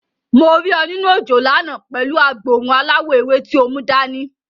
Mo rí ọ nínú òjò lánàá pẹ̀lú agboòrùn aláwọ̀ ewé tí o mú dani.